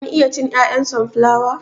Kun iya cin 'ya'yan sonflawa?